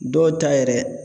Dɔw ta yɛrɛ